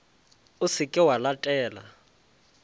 o se ke wa letela